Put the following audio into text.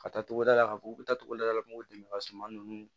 Ka taa togoda la ka fɔ u bɛ taa togoda la u b'u dɛmɛ ka suman nunnu